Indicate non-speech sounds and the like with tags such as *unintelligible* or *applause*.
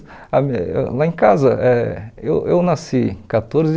*unintelligible* Lá em casa, eh eu eu nasci quatorze